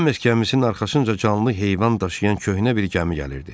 Son miskəmizin arxasınca canlı heyvan daşıyan köhnə bir gəmi gəlirdi.